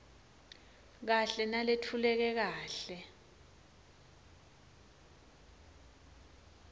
kahle naletfuleke kahle